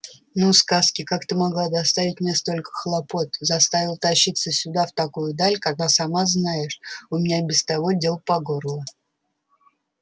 ну сказки как ты могла доставить мне столько хлопот заставила тащиться сюда в такую даль когда сама знаешь у меня и без того дел по горло